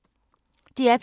DR P2